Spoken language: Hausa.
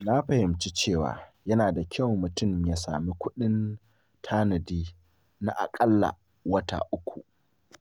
Na fahimci cewa yana da kyau mutum ya sami kuɗin tanadi na akalla wata uku.